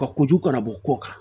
Ka kojugu ka na bɔ ko kan